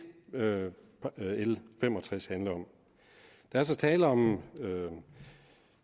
er det l fem og tres handler om der er så tale om